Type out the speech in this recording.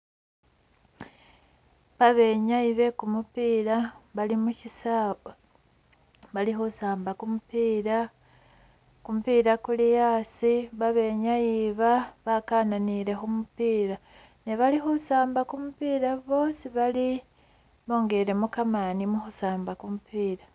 Ba benyayi be kumupiila bali musisawa bali khusamba kumupiila, kumupiila kuli asi babenyayi iba bakananile khumupiila ne bali khusamba kumupiila bwosi bali bongelemo kamani mukhusamba kumupiila.